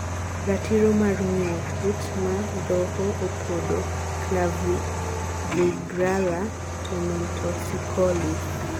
Ratiro mar ngiyoo kut madhoho opodo (Clavigralla tomentosicollis)